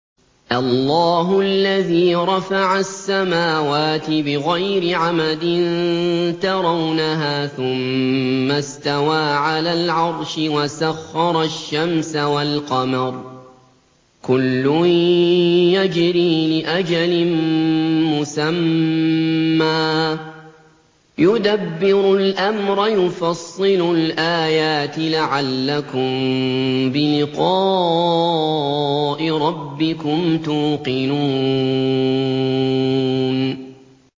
اللَّهُ الَّذِي رَفَعَ السَّمَاوَاتِ بِغَيْرِ عَمَدٍ تَرَوْنَهَا ۖ ثُمَّ اسْتَوَىٰ عَلَى الْعَرْشِ ۖ وَسَخَّرَ الشَّمْسَ وَالْقَمَرَ ۖ كُلٌّ يَجْرِي لِأَجَلٍ مُّسَمًّى ۚ يُدَبِّرُ الْأَمْرَ يُفَصِّلُ الْآيَاتِ لَعَلَّكُم بِلِقَاءِ رَبِّكُمْ تُوقِنُونَ